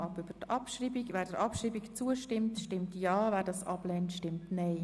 Wer der Abschreibung der Motion zustimmen möchte, stimmt Ja, wer dies ablehnt, stimmt Nein.